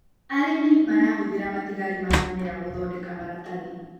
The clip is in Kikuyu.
Arĩmi marahũthĩra matigari ma mĩmera gũthondeka maratathi.